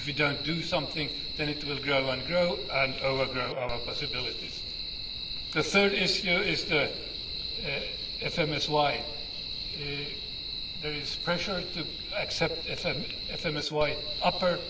If we do not do something, then it will grow and grow, and overgrow our possibilities. The third issue is the FMSY. There is pressure to accept FMSY upper.